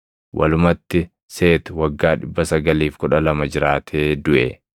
Walumatti Seeti waggaa 912 jiraatee duʼe.